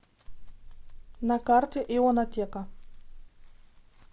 на карте ионотека